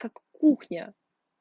как кухня